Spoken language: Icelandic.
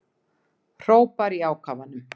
Hrópar í ákafanum.